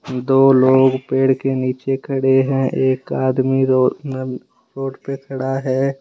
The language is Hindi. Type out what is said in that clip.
दो लोग पेड़ के नीचे खड़े है एक आदमी रोड पे खड़ा है।